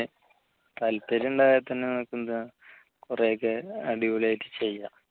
താല്പര്യമുണ്ടായാൽ തന്നെ നമുക്ക് എന്താ കുറെഒക്കെ അടിപൊളി ആയിട്ട് ചെയ്യാം